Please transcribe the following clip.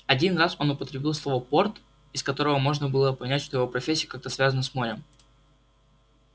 один раз он употребил слово порт из которого можно было понять что его профессия как-то связана с морем